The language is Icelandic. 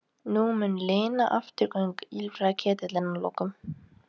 Nú mun linna afturgöngunum, ýlfraði Ketill að lokum.